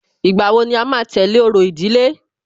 Ìgbà wo ni à máa tẹ̀lé orò ìdílé?